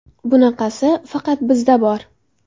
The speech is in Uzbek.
Bunaqasi faqat bizda bor.